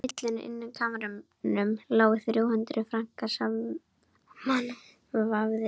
Á hillu inni á kamrinum lágu þrjú hundruð frankar samanvafðir.